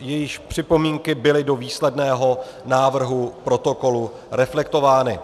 jejichž připomínky byly do výsledného návrhu protokolu reflektovány.